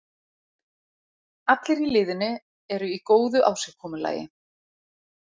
Allir í liðinu eru í góðu ásigkomulagi.